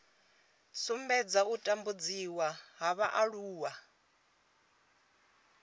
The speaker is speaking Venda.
sumbedza u tambudziwa ha vhaaluwa